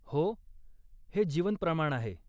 हो, हे जीवन प्रमाण आहे.